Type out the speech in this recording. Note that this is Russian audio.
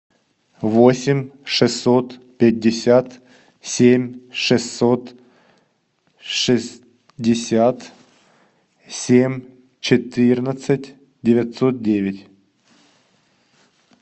восемь шестьсот пятьдесят семь шестьсот шестьдесят семь четырнадцать девятьсот девять